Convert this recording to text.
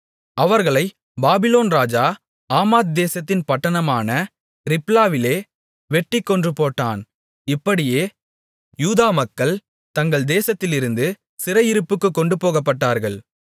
அவர்களைப் பாபிலோன் ராஜா ஆமாத் தேசத்தின் பட்டணமான ரிப்லாவிலே வெட்டிக் கொன்றுபோட்டான் இப்படியே யூதாமக்கள் தங்கள் தேசத்திலிருந்து சிறையிருப்புக்குக் கொண்டுபோகப்பட்டார்கள்